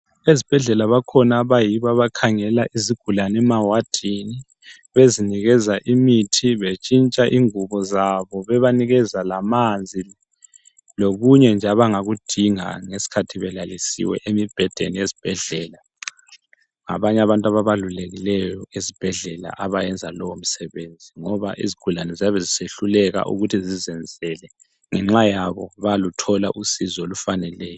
Ezibhedlela bakhona abayibo abakhangela izigulane emawadini, bezinikeza imithi, betshintsha ingubo zabo, bebanikeza lamanzi lokunye nje abangakudinga ngeskhathi belalisiwe emibhedeni yesbhedlela. Ngabanye abantu ababalulekileyo esibhedlela abayenza lowo msebenzi ngoba izigulane ziyabe zisehluleka ukuthi zizenzele ngenxa yabo bayaluthola usizo olufaneleyo.